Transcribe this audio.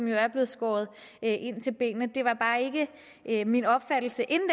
jo er blevet skåret ind til benet det var bare ikke min opfattelse inden